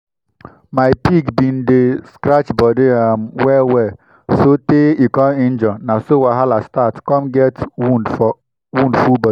my pig been dey um scratch body um well well so tey e come injure na so wahala start come get wound full body